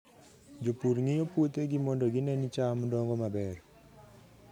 Jopur ng'iyo puothegi mondo gine ni cham dongo maber.